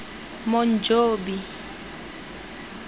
monjobi